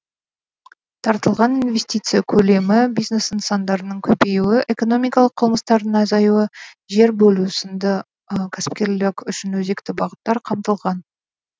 тартылған инвестиция көлемі бизнес нысандарының көбеюі экономикалық қылмыстардың азаюы жер бөлу сынды кәсіпкерлік үшін өзекті бағыттар қамтылған